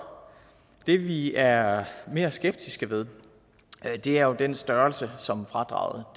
det som vi er mere skeptiske ved er jo den størrelse som fradraget